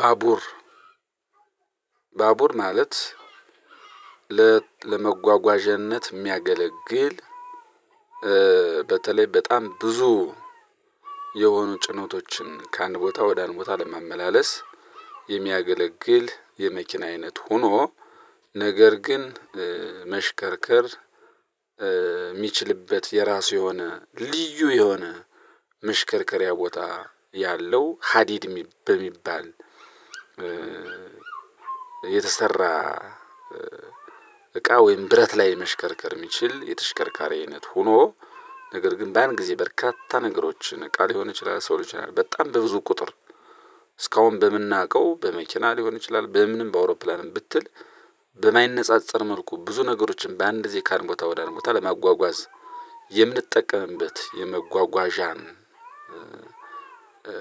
ባቡር ባቡር ማለት ለመጓጓዣነት የሚያገለግል በተለይ በጣም ብዙ የሆኑ ጭኖቶችን ከአንድ ቦታ ወደ አንድ ቦታ ለማመላለስ የሚያገለግል የመኪና አይነት ሆኖ ነገር ግን መሽከርከር እሚችልበት የራሱ የሆነ ልዩ የሆነ መሽከርከሪያ ቦታ ያለው ሃዲድ እሚ በሚባል የተሰራ እቃ ወይም ብረት ላይ መሽከርከር የሚችል የተሽከርካሪ አይነት ሁኖ ነገር ግን በአንድ ጊዜ በርካታ ነገሮችን እቃ ሊሆን ይችላል ሰው ሊሆን ይችላል በጣም በብዙ ቁጥር እስካሁን በምናውቀው በመኪና ሊሆን ይችላል በምንም በአውሮፕላንም ብትል በማይነጻጸር መልኩ ብዙ ነገሮችን በአንድ ዜ ካንድ ቦታ ወዳድ ቦታ ለማጓጓዝ የምንጠቀምበት የመጓጓዣ